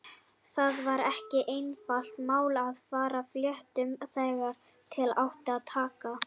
Það var ekki einfalt mál að farga fléttum þegar til átti að taka.